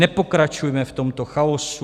Nepokračujme v tomto chaosu.